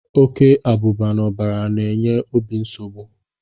Oke abụba n'ọbara na-enye obi nsogbu.